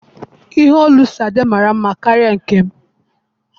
ihe òlú Sade mara nma karịa nkem.